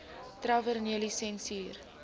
tavernelisensier